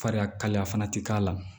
Fariya kalaya fana tɛ k'a la